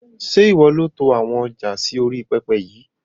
Ṣé ìwọ ni ó to àwọn ọjà sì orí pẹpẹ yìí?